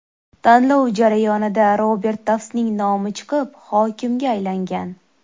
Tanlov jarayonida Robert Taftsning nomi chiqib, hokimga aylangan.